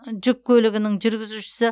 жүк көлігінің жүргізушісі